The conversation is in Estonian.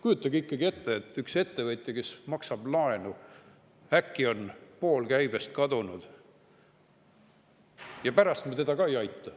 Kujutage ikkagi ette, et ühel ettevõtjal, kes maksab laenu, on äkki pool käibest kadunud, ja pärast me teda ei aita ka.